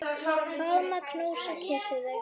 Faðma, knúsa, kyssi þig.